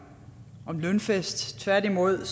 lønfest tværtimod